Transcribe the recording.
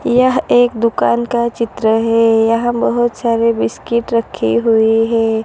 यह एक दुकान का चित्र है यहां बहोत सारे बिस्किट रखी हुइ हैं।